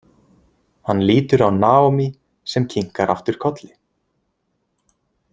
Hann lítur á Naomi sem kinkar aftur kolli.